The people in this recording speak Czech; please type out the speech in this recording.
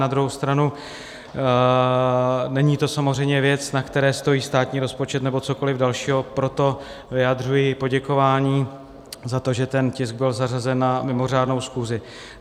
Na druhou stranu není to samozřejmě věc, na které stojí státní rozpočet nebo cokoliv dalšího, proto vyjadřuji poděkování za to, že ten tisk byl zařazen na mimořádnou schůzi.